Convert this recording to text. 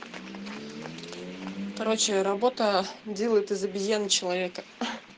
короче работа делает из обезьяны человека хи-хи